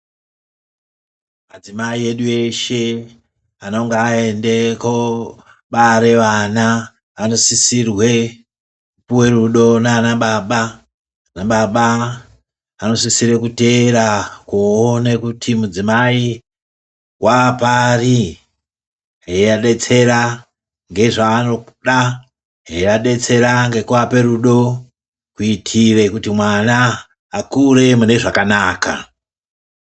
Madzimai edu eshe anonga aende koobare vana anosisirwe kupuwe rudo naanababa. Anababa anosisire kuteera kuoone kuti mudzimai waapari. Eiadetsera nezvaanoda, eiadetsera nekuape rudo. Kuitire kuti mwana akure mune zvakanaka.